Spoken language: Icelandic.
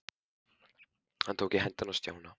Hann tók í hendina á Stjána.